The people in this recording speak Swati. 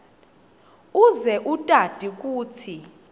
uze utati kutsi